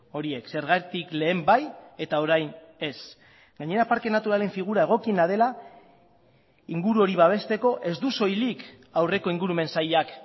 horiek zergatik lehen bai eta orain ez gainera parke naturalen figura egokiena dela inguru hori babesteko ez du soilik aurreko ingurumen sailak